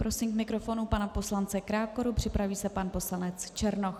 Prosím k mikrofonu pana poslance Krákoru, připraví se pan poslanec Černoch.